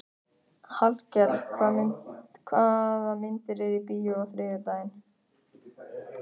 Hallkell, hvaða myndir eru í bíó á þriðjudaginn?